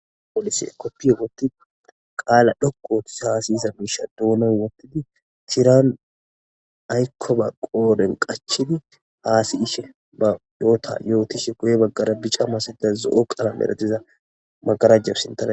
Polisey kopiya wotidi qaala dhoqu othiza ha siyiza miisha doonan wothidi tiran aykoba qoodhen qachidi ha si'ishe ba yoota yootishe guye baggar bica masatiza zo'o qalamera diza magaraja sintara.